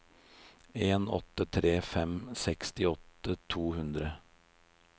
en åtte tre fem sekstiåtte to hundre